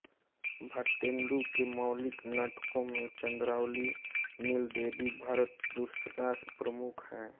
भारतेन्दु के मौलिक नाटकों में चन्द्रावली नीलदेवी भारतदुर्दशा प्रमुख हैं